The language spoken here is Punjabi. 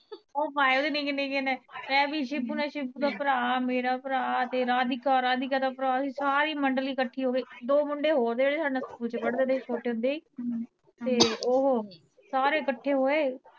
ਓ ਹੈ ਵੀ ਨਿਕੇ ਨਿਕੇ ਨੇ ਮੈਂ ਵੀ ਸ਼ਿਬੂ ਨੇ ਸ਼ਿਬੂ ਦਾ ਭਰਾ ਮੇਰਾ ਭਰਾ ਤੇਰਾ ਭਰਾ ਅਧਿਕਾ, ਅਧਿਕਾ ਦਾ ਭਰਾ ਅਸੀਂ ਸਾਰੀ ਮੰਡਲੀ ਇਕਠੀ ਹੋ ਕੇ ਦੋ ਮੁੰਡੇ ਹੋਰ ਜੇੜੇ ਸਾਡੇ ਨਾਲ ਸਕੂਲ ਚ ਪੜ੍ਹਦੇ ਤੇ ਛੋਟੇ ਹੁੰਦੇ ਈ ਸਾਰੇ ਇਕੱਠੇ ਹੋਏ